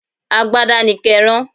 Agbada ni ké rán.